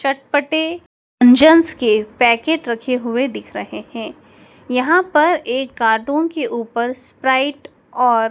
चटपटे व्यंजन्स के पैकेट रखे हुए दिख रहे हैं। यहां पर एक कार्टून की ऊपर स्प्राइट और--